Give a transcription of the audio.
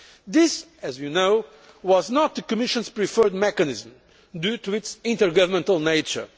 This, as you know, was not the Commission's preferred mechanism due to its intergovernmental nature.